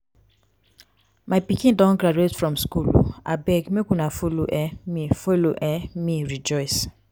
my pikin don graduate from school um abeg make una follow um me follow um me rejoice